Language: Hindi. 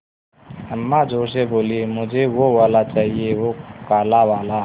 अम्मा ज़ोर से बोलीं मुझे वो वाला चाहिए वो काला वाला